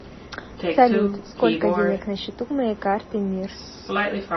салют сколько денег на счету моей карты мир